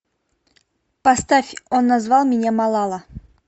поставь он назвал меня малала